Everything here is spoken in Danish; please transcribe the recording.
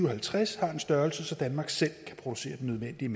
og halvtreds har en størrelse så danmark selv kan producere den nødvendige